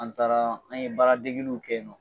An taara an ye baara degiliw kɛ ye nɔ